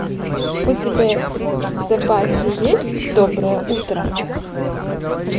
у тебя в запасе есть доброе утро